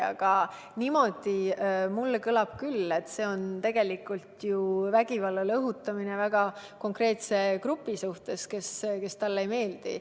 Aga niimoodi see kõlab mulle küll – see on vägivallale õhutamine väga konkreetse grupi suhtes, kes talle ei meeldi.